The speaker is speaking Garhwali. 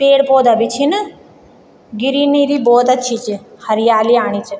पेड़-पौधा भी छिन गिरिनरी भी बहौत अच्छी च हरियाली आणि च।